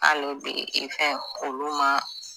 Ale bi i fɛn olu ma.